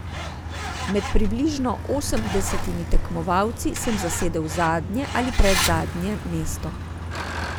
Med približno osemdesetimi tekmovalci sem zasedel zadnje ali predzadnje mesto.